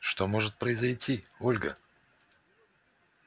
что может произойти ольга